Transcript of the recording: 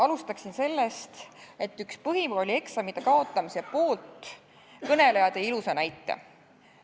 Alustaksin sellest, et üks põhikoolieksamite kaotamise poolt kõneleja tõi ilusa näite.